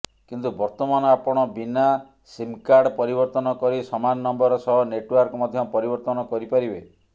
କିନ୍ତୁ ବର୍ତ୍ତମାନ ଆପଣ ବିନା ସିମ୍କାର୍ଡ ପରିବର୍ତ୍ତନ କରି ସମାନ ନମ୍ବର ସହ ନେଟଓ୍ବାର୍କ ମଧ୍ୟ ପରିବର୍ତ୍ତନ କରିପାରିବେ